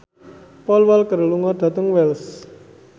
Paul Walker lunga dhateng Wells